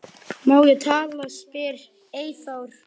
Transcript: Hún komst fljótt að því.